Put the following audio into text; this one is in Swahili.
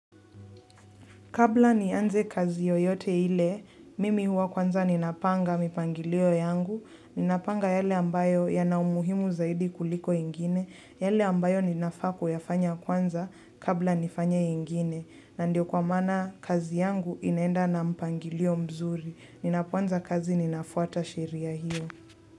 Kabla nianze kazi yoyote ile, mimi huwa kwanza ninapanga mipangilio yangu, ninapanga yale ambayo yana umuhimu zaidi kuliko ingine, yale ambayo ninafaa kuyafanya kwanza kabla nifanye ingine, na ndio kwa maana kazi yangu inaenda na mpangilio mzuri, ninapo anza kazi ninafuata sheria hiyo.